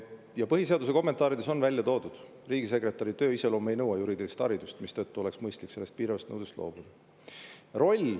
Ja põhiseaduse kommentaarides on välja toodud, et riigisekretäri töö iseloom ei nõua juriidilist haridust, mistõttu oleks mõistlik sellest piiravast nõudest loobuda.